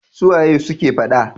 Su waye suke fada?